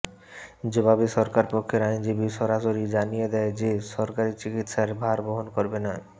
জবাবে সরকারপক্ষের আইনজীবী সরাসরি জানিয়ে দেয় যে সরকারি চিকিৎসার ভার বহন করবে না